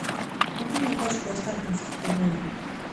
купи мне пачку останкинских пельменей